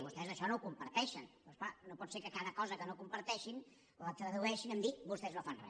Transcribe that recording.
vostès això no ho comparteixen però és clar no pot ser que cada cosa que no comparteixin la tradueixin a dir vostès no fan re